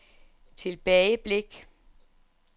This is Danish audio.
tilbageblik